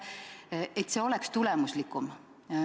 Siis oleks reageerimine tulemuslikum.